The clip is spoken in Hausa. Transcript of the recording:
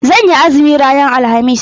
Zan yi azumi ranar alhamis.